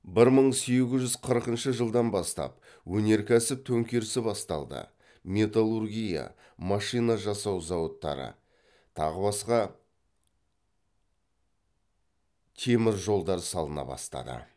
бір мың сегіз жүз қырқыншы жылдан бастап өнеркәсіп төңкерісі басталды металлургия машина жасау зауыттары тағы басқа темір жолдары салына бастады